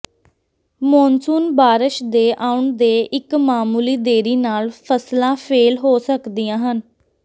monsoon ਬਾਰਸ਼ ਦੇ ਆਉਣ ਦੇ ਇੱਕ ਮਾਮੂਲੀ ਦੇਰੀ ਨਾਲ ਫਸਲਾਂ ਫੇਲ ਹੋ ਸਕਦੀਆਂ ਹਨ